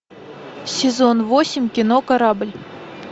сезон восемь кино корабль